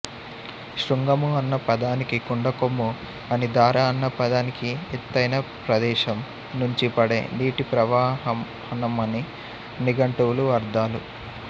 శృంగము అన్న పదానికి కొండకొమ్ము అనీ ధార అన్న పదానికి ఎత్తైన ప్రదేశం నుంచి పడే నీటిప్రవాహనమనీ నిఘంటువుల అర్థాలు